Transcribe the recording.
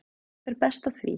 Það fer best á því.